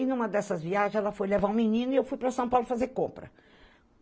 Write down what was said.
E em uma dessas viagens, ela foi levar um menino e eu fui para São Paulo fazer compra.